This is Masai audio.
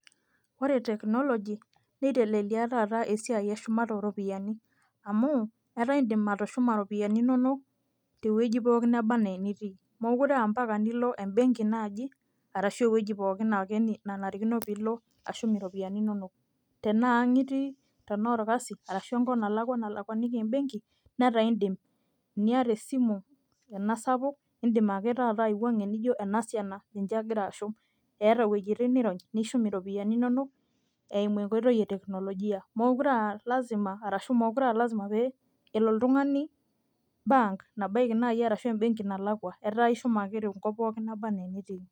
ore technology niteleliaa taata esiai eshumata ooropiyiani, amu etaa idim atushuma iropyiani inonok tewueji naba anaa enitii, meekure aa mpaka nilo e mbenki naaji, arahu ewueji pookin ake nanarikino pee ilo ashum iropiyiani inonok. tenaa ang itii arashu orkasi, ashu enkop nalakua nalakwaniki embenki, netaa idim, teniata esimu ena sapuk, idim ake taata aiwangie nijo ena siana, ninche agira ashum, eeta iwuejitin nirony, nishum iropiyiani inonok eimu enkoitoi e tecknolojia. meekure aa lasima aashu meekure aa lazima pee elo oltungani bank nabaiki naaji ashu ebenki nalakua, etaa ishum ake itii ewueji nitii.